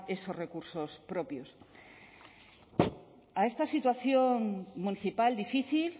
esos recursos propios a esta situación municipal difícil